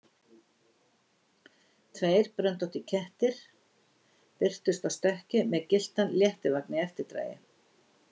Tveir bröndóttir kettir birtust á stökki með gylltan léttivagn í eftirdragi.